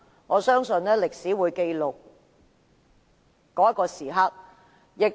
我相信，歷史自會記錄今天投票的一刻。